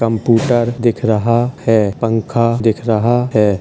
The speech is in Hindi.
कम्पूटर दिख रहा है पंखा दिख रहा है।